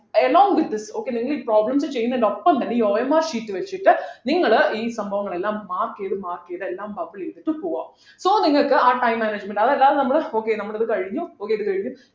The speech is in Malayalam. along with this okay നിങ്ങൾ ഈ problems ചെയ്യുന്നതിനോടൊപ്പം തന്നെ ഈ OMR sheet വെച്ചിട്ട് നിങ്ങള് ഈ സംഭവങ്ങളെല്ലാം mark ചെയ്തു mark ചെയ്തു എല്ലാം bubble ചെയ്തിട്ട് പോവ്വാ so നിങ്ങൾക്ക് ആ time management അതല്ലാതെ നമ്മൾ okay നമ്മൾ അത് കഴിഞ്ഞു okay ഇത് കഴിഞ്ഞു